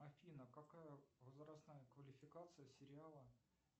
афина какая возрастная квалификация сериала